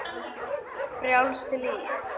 Frjálst líf.